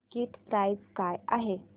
ticket price काय आहे